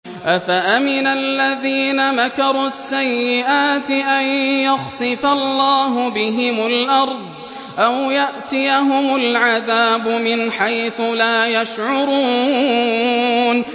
أَفَأَمِنَ الَّذِينَ مَكَرُوا السَّيِّئَاتِ أَن يَخْسِفَ اللَّهُ بِهِمُ الْأَرْضَ أَوْ يَأْتِيَهُمُ الْعَذَابُ مِنْ حَيْثُ لَا يَشْعُرُونَ